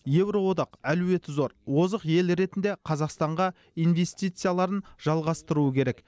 еуроодақ әлеуеті зор озық ел ретінде қазақстанға инвестицияларын жалғастыруы керек